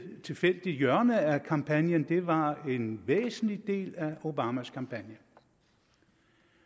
tilfældigt hjørne af kampagnen det var en væsentlig del af obamas kampagne